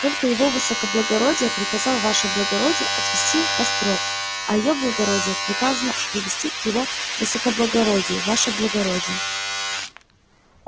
только его высокоблагородие приказал ваше благородие отвести в острог а её благородие приказано привести к его высокоблагородию ваше благородие